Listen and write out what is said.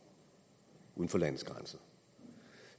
uden for landets grænser